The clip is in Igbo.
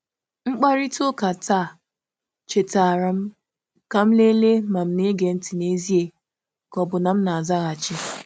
Mkparịta ụka taa chetaara m ka m lelee ma m̀ na-ege ntị n'ezie ka ọ bụ na m na-azaghachi.